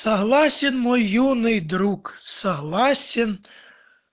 согласен мой юный друг согласен